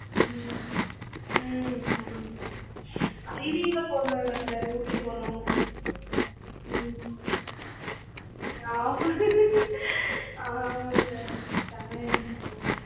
ம்ம் ஆமா sir IV லாம் போனோம்ல sir ஊட்டி போனோம். ம் ஆமா ஆமா sir செமயா enjoy பண்ணுனோம்.